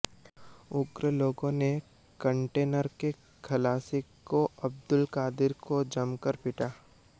उग्र लोगों ने कंटेनर के खलासी को अब्दुल कादिर को जमकर पीटा